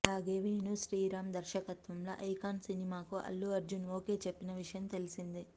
అలాగే వేణు శ్రీరామ్ దర్శకత్వంలో ఐకాన్ సినిమాకు అల్లు అర్జున్ ఓకే చెప్పిన విషయం తెలిసిందే